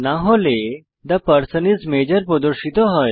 না হলে the person is major প্রদর্শিত হয়